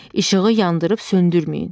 İşığı yandırıb söndürməyin.